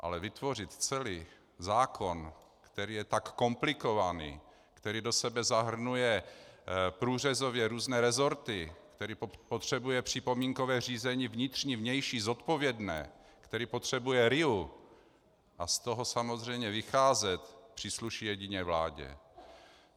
Ale vytvořit celý zákon, který je tak komplikovaný, který do sebe zahrnuje průřezově různé resorty, který potřebuje připomínkové řízení vnitřní, vnější, zodpovědné, který potřebuje RIA, a z toho samozřejmě vycházet přísluší jedině vládě.